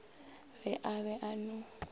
ge a be a no